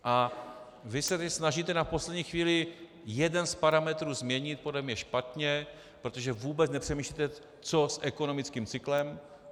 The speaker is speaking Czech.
A vy se teď snažíte na poslední chvíli jeden z parametrů změnit, podle mě špatně, protože vůbec nepřemýšlíte, co s ekonomickým cyklem.